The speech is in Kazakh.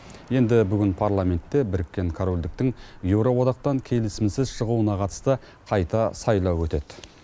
енді бүгін парламентте біріккен корольдіктің еуроодақтан келісімсіз шығуына қатысты қайта сайлау өтеді